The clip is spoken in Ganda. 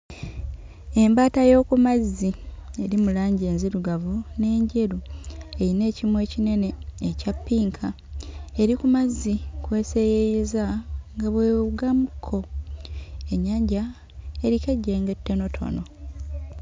Embaata y'oku mazzi eri mu langi enzirugavu n'enjeru eyina ekimwa ekinene ekya ppinka eri ku mazzi kw'eseeyeeyeza nga bw'ewugamu kko. Ennyanja eriko ejjengo ettonotono.